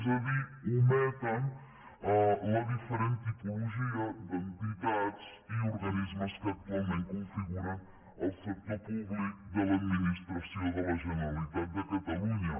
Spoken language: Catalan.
és a dir ometen la diferent tipologia d’entitats i organismes que actualment configuren el sector públic de l’administració de la generalitat de catalunya